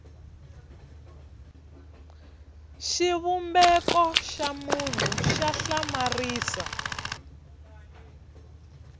xivumbeko xa munhu xa hlamarisa